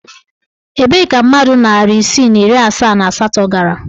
Ebee ka mmadụ narị isii na iri asaa and asatọ gara?